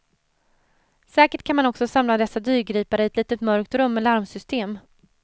Säkert kan man också samla dessa dyrgripar i ett litet mörkt rum med larmsystem.